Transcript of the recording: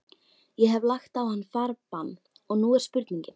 Ég hef lagt á hann farbann, og nú er spurningin.